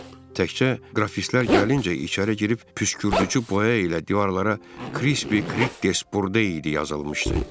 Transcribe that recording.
Təkcə qrafitlər gəlincə içəri girib püskürdücü boya ilə divarlara Krispi Kridges Burde idi yazılmışdı.